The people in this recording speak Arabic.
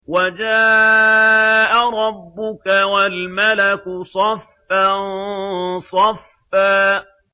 وَجَاءَ رَبُّكَ وَالْمَلَكُ صَفًّا صَفًّا